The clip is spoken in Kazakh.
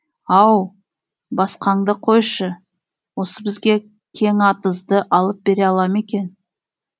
ау басқаңды қойшы осы бізге кеңатызды алып бере ала ма екен